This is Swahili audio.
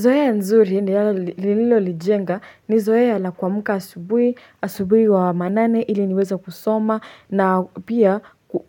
Zoea nzuri ni lilo lijenga ni zoea la kwa amka asubuhi, asubuhi wa manane iliniweze kusoma na pia